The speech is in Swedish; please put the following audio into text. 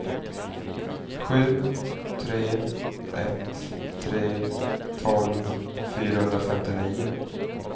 sju tre ett tre tolv fyrahundrafemtionio